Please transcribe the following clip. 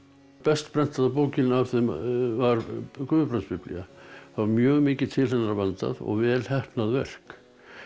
best prentaða bókin af þeim var Guðbrandsbiblía það var mjög mikið til hennar vandað og vel heppnað verk